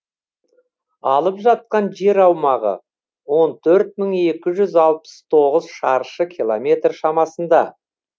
алып жатқан жер аумағы он төрт мың екі жүз алпыс тоғыз шаршы километр шамасында